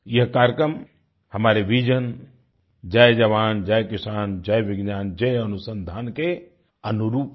यह कार्यक्रम हमारे विजन जय जवान जय किसान जय विज्ञान जय अनुसंधान के अनुरूप है